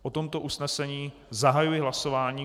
O tomto usnesení zahajuji hlasování.